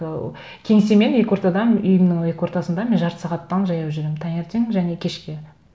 ы кеңсе мен екі ортада үйімнің екі ортасында мен жарты сағаттан жаяу жүремін таңертең және кешке